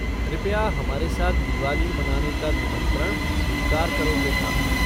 कृपया हमारे साथ दिवाली मनाने का निमंत्रण स्वीकार करो पृथा।